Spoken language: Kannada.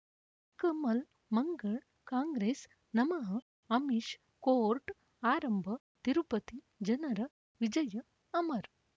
ಕಮಲ್ ಮಂಗಳ್ ಕಾಂಗ್ರೆಸ್ ನಮಃ ಅಮಿಷ್ ಕೋರ್ಟ್ ಆರಂಭ ತಿರುಪತಿ ಜನರ ವಿಜಯ ಅಮರ್